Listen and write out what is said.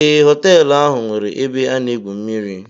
Ee, họtelụ ahụ nweere ebe a na-egwu mmiri.